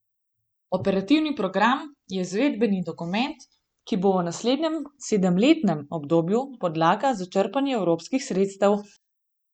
Operativni program je izvedbeni dokument, ki bo v naslednjem sedemletnem obdobju podlaga za črpanje evropskih sredstev.